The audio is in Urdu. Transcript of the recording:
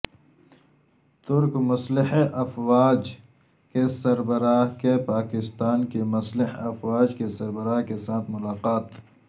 ترک مسلح افواج کے سربراہ کی پاکستان کی مسلح افواج کے سربراہ کے ساتھ ملاقات